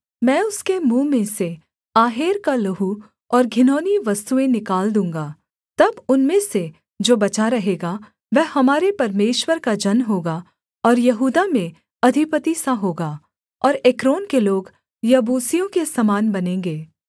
मैं उसके मुँह में से आहेर का लहू और घिनौनी वस्तुएँ निकाल दूँगा तब उनमें से जो बचा रहेगा वह हमारे परमेश्वर का जन होगा और यहूदा में अधिपति सा होगा और एक्रोन के लोग यबूसियों के समान बनेंगे